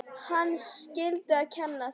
Hann skyldi kenna þeim.